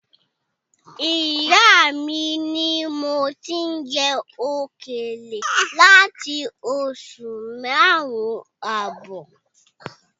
Ìyá mi ni mo ti ń jẹ òkèlè láti oṣù márùn-ún ààbọ̀